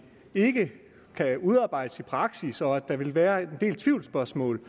ikke kan udarbejdes i praksis og at der vil være en del tvivlsspørgsmål